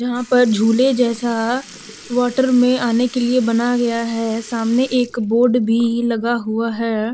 यहां पर झूले जैसा वाटर में आने के लिए बना गया है सामने एक बोड भी लगा हुआ है।